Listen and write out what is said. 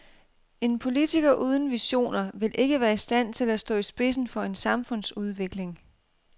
En politiker uden visioner vil ikke være i stand til at stå i spidsen for en samfundsudvikling.